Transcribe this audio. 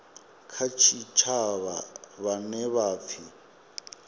kha tshitshavha vhane vha pfiwa